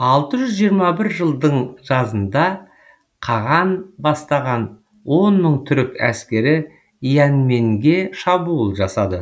алты жүз жиырма бір жылдың жазында қаған бастаған он мың түрік әскері яньмэнге шабуыл жасады